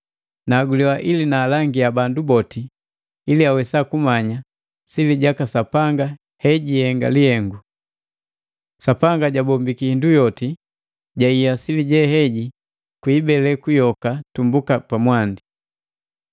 nahaguliwa ili nundangiya bandu boti ili awesa kumanya sili jaka Sapanga hejihenga lihengu. Sapanga jambombiki hindu yoti jahiya sili jeheji kwa ibeleku yoka tumbuka mwandi.